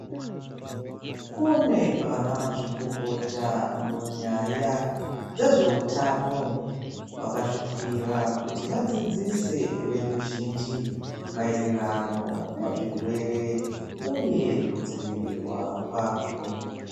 Kune vanamazvikokota munyaya dzezveutano vakazvipira kuti vadzidzise veruzhinji maererano nezvirwere uye kudzivirirwa kwazvo.